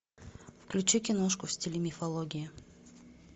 включи киношку в стиле мифологии